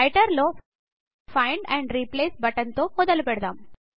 writer లో find and replace button తో మొదలుపెడదాం